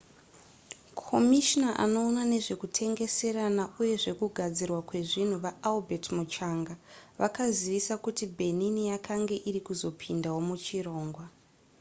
komishina anoona nezvekutengeserana uye zvekugadzirwa kwezvinhu vaalbert muchanga vakazivisa kuti benin yakanga iri kuzopindawo muchirongwa